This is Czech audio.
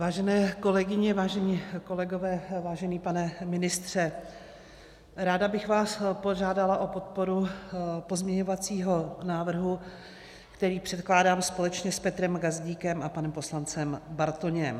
Vážené kolegyně, vážení kolegové, vážený pane ministře, ráda bych vás požádala o podporu pozměňovacího návrhu, který předkládám společně s Petrem Gazdíkem a panem poslancem Bartoněm.